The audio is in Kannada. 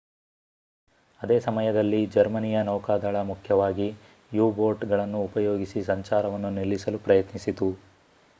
ಅದೇ ಸಮಯದಲ್ಲಿ ಜರ್ಮನಿಯ ನೌಕಾದಳ ಮುಖ್ಯವಾಗಿ u-ಬೋಟ್ ಗಳನ್ನೂ ಉಪಯೋಗಿಸಿ ಸಂಚಾರವನ್ನು ನಿಲ್ಲಿಸಲು ಪ್ರಯತ್ನಿಸಿತು